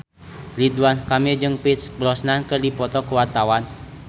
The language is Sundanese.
Ridwan Kamil jeung Pierce Brosnan keur dipoto ku wartawan